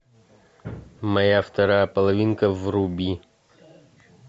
моя вторая половинка вруби